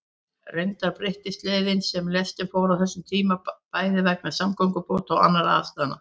Reyndar breyttist leiðin sem lestin fór á þessum tíma, bæði vegna samgöngubóta og annarra aðstæðna.